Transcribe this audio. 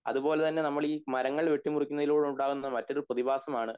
അതുപോലെ തന്നെ നമ്മൾ മരങ്ങൾ വെട്ടി വെട്ടിമുറിക്കുന്നതിലൂടെ നിന്ന് ഉണ്ടാവുന്ന മറ്റൊരു പ്രതിഭാസം ആണ്